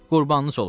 Qurbanınız olum.